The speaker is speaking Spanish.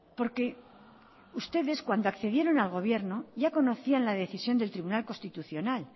porque ustedes cuando accedieron al gobierno ya conocían la decisión del tribunal constitucional